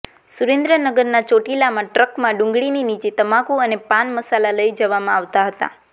સુરેન્દ્રનગરના ચોટીલામાં ટ્રકમાં ડુંગળીની નીચે તમાકુ અને પાન મસાલા લઈ જવામાં આવતા હતા